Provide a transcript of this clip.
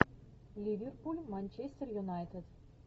ливерпуль манчестер юнайтед